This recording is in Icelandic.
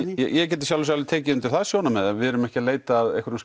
ég get í sjálfu sér alveg tekið undir það sjónarmið en við erum ekki að leita að einhverjum